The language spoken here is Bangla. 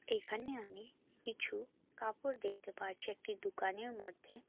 এখানে আমি কিছু কাপড় দেখতে পারছি একটি দুকানের মধ্যে।